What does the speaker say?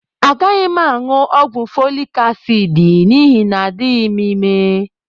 Agaghị m aṅụ ọgwụ folik asiidi n'ihi na adịghị m ime